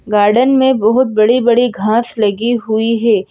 Garden में बहुत बड़ी-बड़ी घास लगी हुई है।